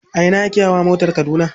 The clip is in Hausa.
A ina ake hawa motar Kaduna.